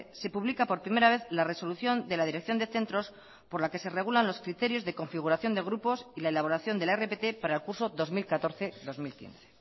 se publica por primera vez la resolución de la dirección de centros por la que se regulan los criterios de configuración de grupos y la elaboración de la rpt para el curso dos mil catorce dos mil quince